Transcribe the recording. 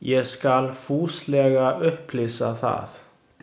Ég skal fúslega upplýsa það.